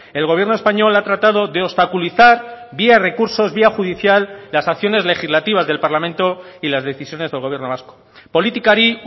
el gobierno español ha tratado de obstaculizar vía recursos vía judicial las acciones legislativas del parlamento y las decisiones del gobierno vasco politikari